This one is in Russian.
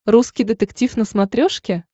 русский детектив на смотрешке